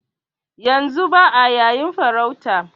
Yanzu ba'a yayin farauta